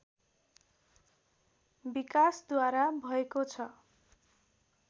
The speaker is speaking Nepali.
विकासद्वारा भएको छ